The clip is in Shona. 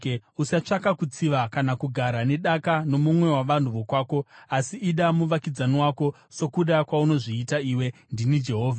“ ‘Usatsvaka kutsiva kana kugara nedaka nomumwe wavanhu vokwako, asi ida muvakidzani wako sokuda kwaunozviita iwe. Ndini Jehovha.